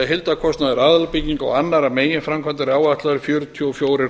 heildarkostnaður aðalbygginga og annarra meginframkvæmda er áætlaður um fjörutíu og fjórir